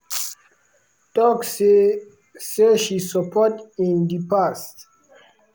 tok say say she support in di past.